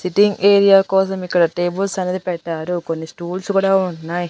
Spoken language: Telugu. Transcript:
సిట్టింగ్ ఏరియా కోసం ఇక్కడ టేబుల్స్ అనేది పెట్టారు కొన్ని స్టూల్స్ కూడా ఉన్నాయి.